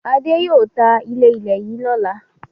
Adé yóò ta ilé-ilẹ̀ yìí lọ́la.